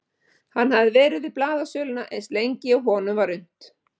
Hann hafði verið við blaðasöluna eins lengi og honum var unnt.